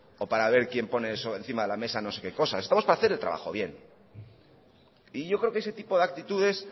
o para ver quién pone sobre encima de la mesa no sé qué cosas estamos para hacer el trabajo bien y yo creo que ese tipo de actitudes